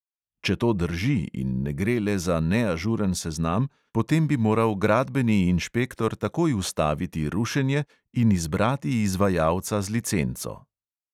Če to drži in ne gre le za neažuren seznam, potem bi moral gradbeni inšpektor takoj ustaviti rušenje in izbrati izvajalca z licenco.